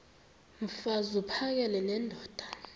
mfaz uphakele nendoda